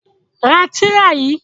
Ra tìrà yìí!